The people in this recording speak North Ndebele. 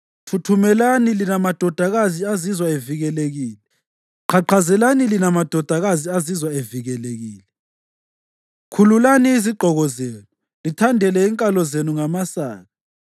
Thuthumelani lina madodakazi azizwa evikelekile; qhaqhazelani lina madodakazi azizwa evikelekile! Khululani izigqoko zenu, lithandele inkalo zenu ngamasaka.